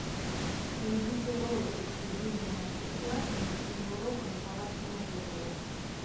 найдите ролики с любыми мастер классами или уроками по вашему выбору